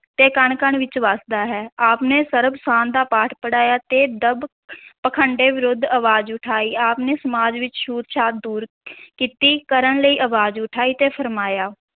ਦੇ ਕਣ-ਕਣ ਵਿੱਚ ਵਸਦਾ ਹੈ, ਆਪ ਨੇ ਸਰਬ-ਸਾਂਝ ਦਾ ਪਾਠ ਪੜਾਇਆ ਤੇ ਦੰਭ ਪਖੰਡ ਵਿਰੁੱਧ ਅਵਾਜ਼ ਉਠਾਈ, ਆਪ ਨੇ ਸਮਾਜ ਵਿੱਚ ਛੂਤ-ਛਾਤ ਦੂਰ ਕੀਤੀ, ਕਰਨ ਲਈ ਅਵਾਜ਼ ਉਠਾਈ ਤੇ ਫੁਰਮਾਇਆ